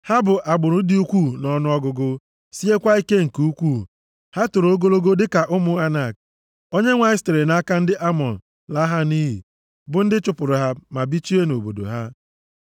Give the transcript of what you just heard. Ha bụ agbụrụ dị ukwuu nʼọnụọgụgụ, siekwa ike nke ukwuu, ha toro ogologo dịka ụmụ Anak. Onyenwe anyị sitere nʼaka ndị Amọn laa ha nʼiyi, bụ ndị chụpụrụ ha ma bichie nʼobodo ha.